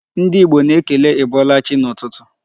Ndị Igbo na-ekele ị bọọla chị n'ụtụtụ.